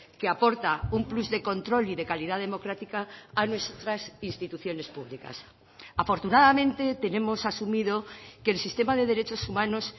que aporta un plus de control y de calidad democrática a nuestras instituciones públicas afortunadamente tenemos asumido que el sistema de derechos humanos